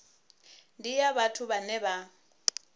ndi ya vhathu vhane vha